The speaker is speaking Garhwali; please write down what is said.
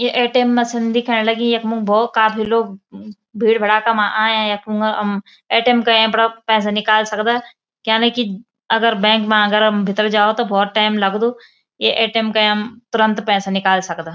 ये ए.टी.एम. मशीन दिखेंण लगीं यख्मु भौत काफी लोग भीड़ भड़ाका मा आया यख मंगा अम ए.टी.एम. कयाँ अपड़ा पैसा निकाल सकदा क्यांलेकी अगर बैंक मा अगर भितर जाओ तो भौत टैम लगदु ये ए.टी.एम. कयां हम तुरंत पैसा निकाल सकदा।